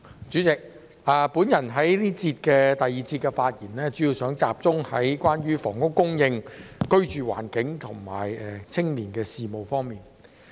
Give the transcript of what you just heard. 主席，我在第二節的發言主要集中在房屋供應、居住環境和青年事務方面。